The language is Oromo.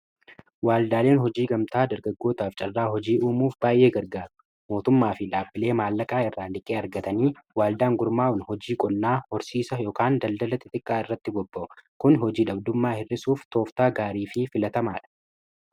waaldaaleen hojii gamtaa dargaggootaaf carraa hojii uumuuf baay'ee gargaaru mootummaa fi dhaabbilee maallaqaa irraan dhiqqee argatanii waaldaan gurmaa'un hojii qonnaa horsiisa daldalati xiqqaa irratti bobba'a kun hojii dhabdummaa hir'isuuf tooftaa gaarii fi filatamaa dha